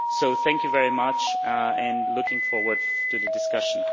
So thank you very much and I am looking forward to the discussion.